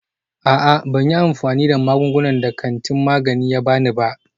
A'a, ban yi amfani da magungunan da kantin magani ya ba ni ba.